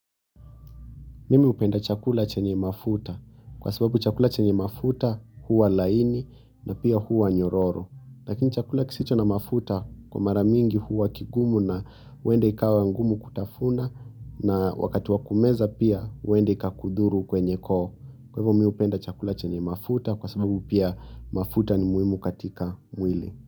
Mimi hupenda chakula chenye mafuta kwa sababu chakula chenye mafuta huwa laini na pia huwa nyororo. Lakini chakula kisicho na mafuta kwa maramingi huwa kigumu na huende ikawa ngumu kutafuna na wakati wa kumeza pia huende ikakudhuru kwenye koo. Kwa hivyo mimi hupenda chakula chenye mafuta kwa sababu pia mafuta ni muhimu katika mwili.